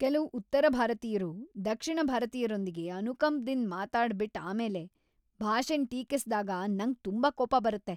ಕೆಲವ್ ಉತ್ತರ ಭಾರತೀಯ್ರು ದಕ್ಷಿಣ ಭಾರತೀಯರೊಂದಿಗೆ ಅನುಕಂಪದಿಂದ್ ಮಾತಾಡ್ ಬಿಟ್ ಆಮೇಲೆ ಭಾಷೆನ್ ಟೀಕಿಸಿದಾಗ ನಂಗ್ ತುಂಬಾ ಕೋಪ ಬರುತ್ತೆ.